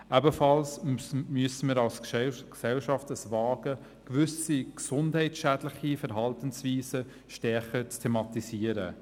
Ebenfalls müssen wir als Gesellschaft wagen, gewisse gesundheitsschädliche Verhaltensweisen stärker zu thematisieren.